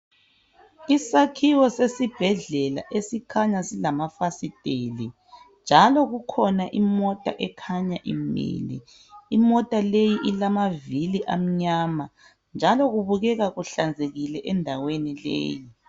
Isakhiwo sesibhedlela esikhanya silamafasiteli njalo kukhona imota imile. Imota le ilamavili amnyama njalo kubukekkuhlanzekile endaweni leyi.